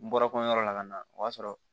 N bɔra ko yɔrɔ la ka na o y'a sɔrɔ